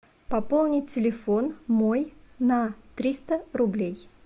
пополнить телефон мой на триста рублей